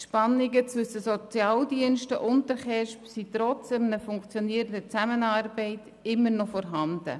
Die Spannungen zwischen den Sozialdiensten und den KESB sind trotz funktionierender Zusammenarbeit immer noch vorhanden.